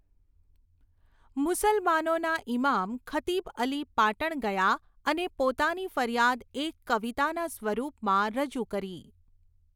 મુસલમાનોના ઇમામ ખતીબઅલી પાટણ ગયા અને પોતાની ફરિયાદ એક કવિતાના સ્વરૂપમાં રજૂ કરી.